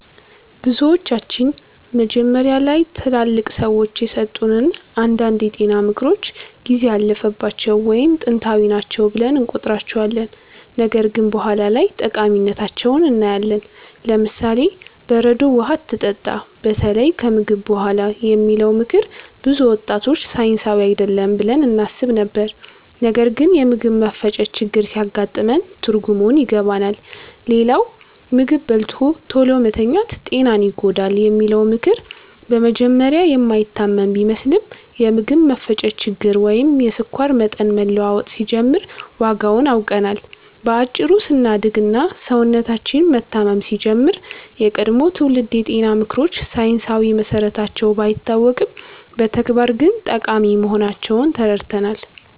ብዙዎቻችን መጀመሪያ ላይ ትላልቅ ሰዎች የሰጡትን አንዳንድ የጤና ምክሮች ጊዜ ያለፈባቸው ወይም ጥንታዊ ናቸው ብለን እንቆጥራቸዋለን፣ ነገር ግን በኋላ ላይ ጠቃሚነታቸውን እናያለን። ለምሳሌ፦ "በረዶ ውሃ አትጠጣ፣ በተለይ ከምግብ በኋላ" የሚለው ምክር ብዙ ወጣቶች ሳይንሳዊ አይደለም ብለን እናስብ ነበር፣ ነገር ግን የምግብ መፈጨት ችግር ሲያጋጥመን ትርጉሙን ይገባናል። ሌላው "ምግብ በልቶ ቶሎ መተኛት ጤናን ይጎዳል" የሚለው ምክር በመጀመሪያ የማይታመን ቢመስልም፣ የምግብ መፈጨት ችግር ወይም የስኳር መጠን መለዋወጥ ሲጀምር ዋጋውን አውቀናል። በአጭሩ ስናድግ እና ሰውነታችን መታመም ሲጀምር፣ የቀድሞ ትውልድ የጤና ምክሮች ሳይንሳዊ መሰረታቸው ባይታወቅም በተግባር ግን ጠቃሚ መሆናቸውን ተረድተናል።